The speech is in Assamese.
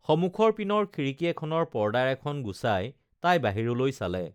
সমুখৰ পিনৰ খিড়িকী এখনৰ পৰ্দা এখন গুচাই তাই বাহিৰলৈ চালে